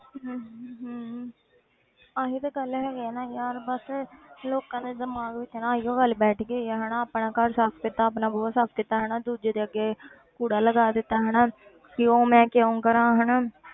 ਹਮ ਹਮ ਆਹੀ ਤੇ ਗੱਲ ਹੈਗੀ ਹੈ ਨਾ ਯਾਰ ਬਸ ਲੋਕਾਂ ਦੇ ਦਿਮਾਗ ਵਿੱਚ ਨਾ ਇਹੀਓ ਗੱਲ ਬੈਠ ਗਈ ਆ ਹਨਾ ਆਪਣਾ ਘਰ ਸਾਫ਼ ਕੀਤਾ ਆਪਣਾ ਬੂਹਾ ਸਾਫ਼ ਕੀਤਾ ਹਨਾ ਦੂਜੇ ਦੇ ਅੱਗੇ ਕੂੜਾ ਲਗਾ ਦਿੱਤਾ ਹਨਾ ਕਿਉਂ ਮੈਂ ਕਿਉਂ ਕਰਾਂ ਹਨਾ।